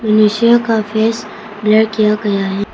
इंसान का face blur किया गया हैं।